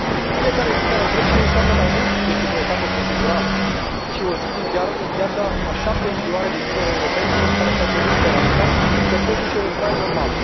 Fiecare zi care trece înseamnă mai mult decât o etapă procedurală și o zi din viața a șapte milioane de tineri europeni, care și au pierdut speranța că pot duce un trai normal.